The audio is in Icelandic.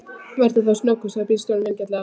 Vertu þá snöggur, sagði bílstjórinn vingjarnlega.